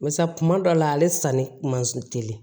Barisa kuma dɔ la ale sanni man se teli ye